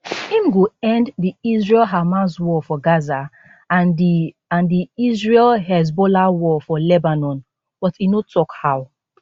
im go end di israelhamas war for gaza and di and di israelhezbollah war for lebanon but e no tok how